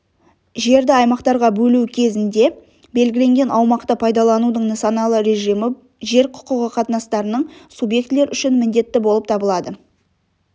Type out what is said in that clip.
жерд аймақтарға бөлу кезінде белгіленген аумақты пайдаланудың нысаналы режимі жер құқығы қатынастарының субъектілер үшін міндетті болып табылады